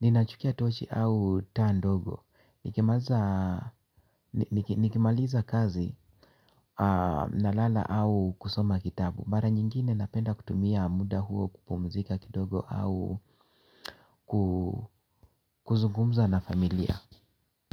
Ninachukia tochi au taa ndogo nikimaliza nikimaliza kazi na lala au kusoma kitabu. Mara nyingine napenda kutumia muda huo kupumzika kidogo au kuzungumza na familia.